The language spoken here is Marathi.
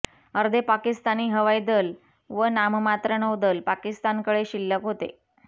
अर्धे पाकिस्तानी हवाई दल व नाममात्र नौदल पाकिस्तानकडे शिल्लक होते